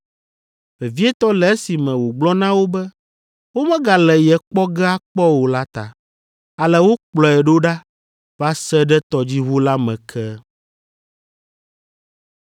vevietɔ le esime wògblɔ na wo be womegale ye kpɔ ge akpɔ o la ta. Ale wokplɔe ɖo ɖa va se ɖe tɔdziʋu la me ke.